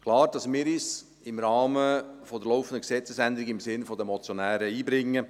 Es ist klar, dass wir uns im Rahmen der laufenden Gesetzesänderung im Sinn der Motionäre einbringen.